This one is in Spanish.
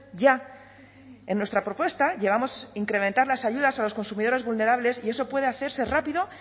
ya en nuestra propuesta llevamos incrementar las ayudas a los consumidores vulnerables y eso puede hacerse rápido